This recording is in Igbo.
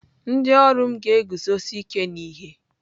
Ndị ọrụ m na-eguzosi ike n'ihe.